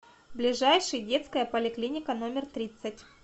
ближайший детская поликлиника номер тридцать